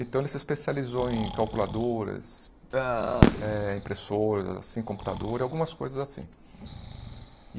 Então ele se especializou em calculadoras, eh impressoras, assim, computador, e algumas coisas assim.